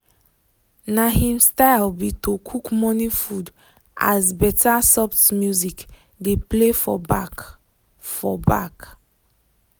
na him style be to cook morning food as better soft music dey play for back. for back.